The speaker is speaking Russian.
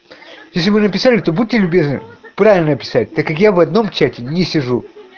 если вы написали то будьте любезны правильно писать так как я в одном чате не сижу